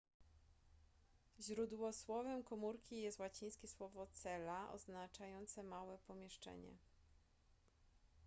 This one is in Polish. źródłosłowem komórki jest łacińskie słowo cella oznaczające małe pomieszczenie